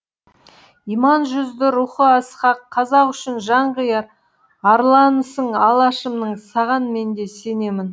иман жүзді рухы асқақ қазақ үшін жан қияр арланысың алашымның саған мен де сенемін